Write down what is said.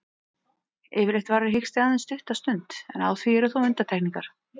Yfirleitt varir hiksti aðeins stutta stund, en á því eru þó undantekningar.